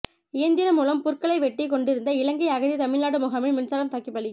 இயந்திரம் மூலம் புற்களை வெட்டிக் கொண்டிருந்த இலங்கை அகதி தமிழ்நாடு முகாமில் மின்சாரம் தாக்கி பலி